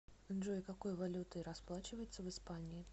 джой какой валютой расплачиваются в испании